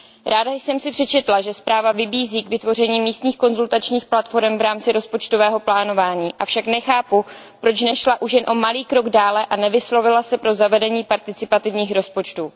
Ráda jsem si přečetla, že zpráva vybízí k vytvoření místních konzultačních platforem v rámci rozpočtového plánování, avšak nechápu, proč nešla u žen o malý krok dále a nevyslovila se pro zavedení participativních rozpočtů.